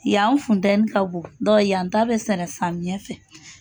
Yan funtɛni ka bon yan ta bɛ sɛnɛ samiyɛ fɛ.